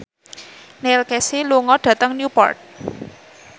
Neil Casey lunga dhateng Newport